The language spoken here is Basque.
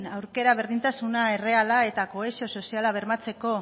aukera berdintasuna erreala eta kohesio soziala bermatzeko